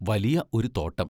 വലിയ ഒരു തോട്ടം!